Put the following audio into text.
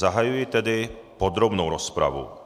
Zahajuji tedy podrobnou rozpravu.